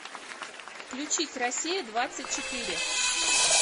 включить россия двадцать четыре